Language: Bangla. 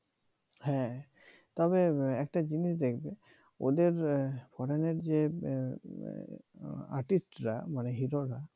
হ্যাঁ তবে একটা জিনিস দেখবে ওদের foreign এর যে artist রা মানে হিরোরা